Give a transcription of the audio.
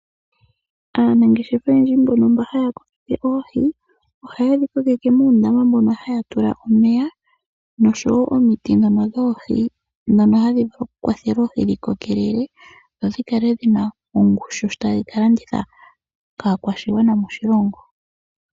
Aanangeshefa oyendji mbono haya kokeke oohi ohaye dhi kokeke moondama moka haya tula omeya noshowo omiti dhono dhoohi dhono hadhi kwathele oohi dhi kokelele nodhikale dhina ongushu sho taya ka landitha kaanangeshefa moshilingo.